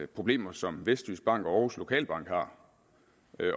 problemer som vestjyskbank og aarhus lokalbank har